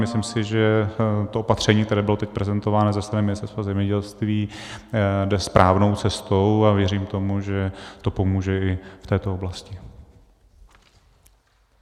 Myslím si, že to opatření, které bylo teď prezentováno ze strany Ministerstva zemědělství, jde správnou cestou, a věřím tomu, že to pomůže i v této oblasti.